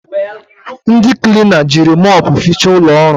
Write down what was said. Ndị klina jiri mopu fiicha ụlọọrụ